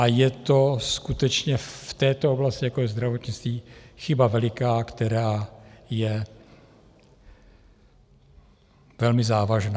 A je to skutečně v této oblasti, jako je zdravotnictví, chyba veliká, která je velmi závažná.